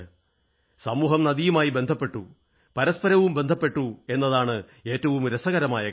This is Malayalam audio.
സമൂഹം നദിയുമായും ബന്ധപ്പെട്ടു പരസ്പരവും ബന്ധപ്പെട്ടു എന്നതാണ് ഏറ്റവും രസകരമായ കാര്യം